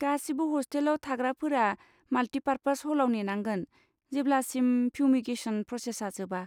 गासिबो हस्टेलाव थाग्राफोरा माल्टिपार्पास हलाव नेनांगोन जेब्लासिम फिउमिगेसन प्रसेसा जोबा।